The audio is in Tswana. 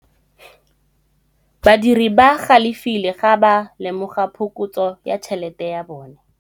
Badiri ba galefile fa ba lemoga phokotsô ya tšhelête ya bone.